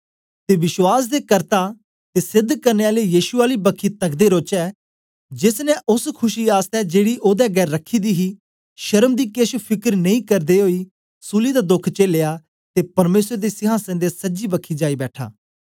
ते विश्वास दे कर्ता ते सेध करने आले यीशु आली बखी तकदे रौचै जेस ने ओस खुशी आसतै जेड़ी ओदे अगें रखी दी ही शर्म दी केछ फिकर नेई करदे ओई सूली दा दोख चेलया ते परमेसर दे सिहासन दे सज्जी बखी जाई बैठा